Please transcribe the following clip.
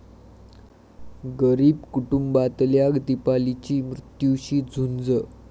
गरीब कुटुंबातल्या दीपालीची मृत्यूशी झुंज